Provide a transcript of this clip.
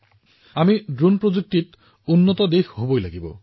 আমি ড্ৰোন প্ৰযুক্তিৰ এখন আগশাৰীৰ দেশ হব লাগিব